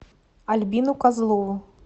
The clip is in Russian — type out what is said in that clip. альбину козлову